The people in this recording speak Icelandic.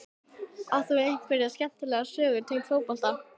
Átt þú einhverja skemmtilega sögur tengda fótbolta?